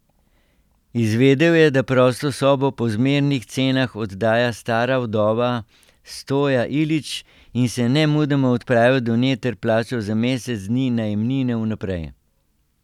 Izvedel je, da prosto sobo po zmernih cenah oddaja stara vdova Stoja Ilić in se nemudoma odpravil do nje ter plačal za mesec dni najemnine vnaprej.